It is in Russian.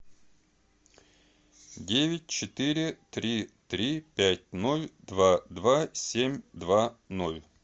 девять четыре три три пять ноль два два семь два ноль